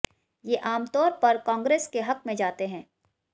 ये आमतौर पर कांग्रेस के हक में जाते हैं